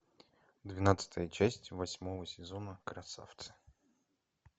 двенадцатая часть восьмого сезона красавцы